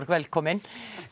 velkomin